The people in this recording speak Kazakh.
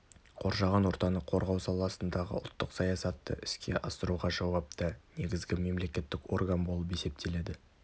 қоршаған ортаны қорғау саласындағы ұлттық саясатты іске асыруға жауапты негізгі мемлекеттік орган болып есептеледі